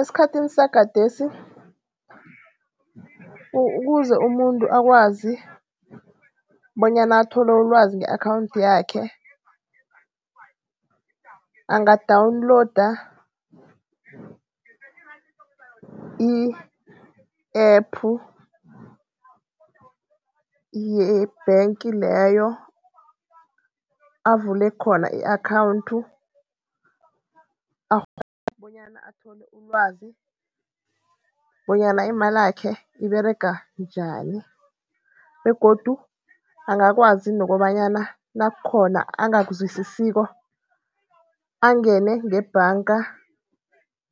Esikhathini sagadesi, ukuze umuntu akwazi bonyana athole ulwazi nge-akhawunthi yakhe. Angadawuniloda i-app ye-bank leyo avule khona i-akhawunti, akghone bonyana athole ilwazi bonyana imalakhe iberega njani. Begodu angakwazi nokobanyana nakukhona angakuzwisisiko angene ngebhanga